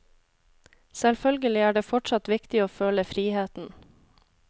Selvfølgelig er det fortsatt viktig å føle friheten.